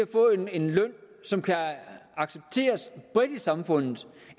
få en løn som kan accepteres bredt i samfundet